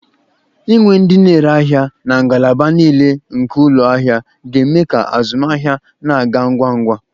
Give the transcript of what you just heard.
Inwe ndị na-ere ahịa na ngalaba niile nke ụlọ ahịa ga-eme ka azụmahịa na-aga ngwa ngwa.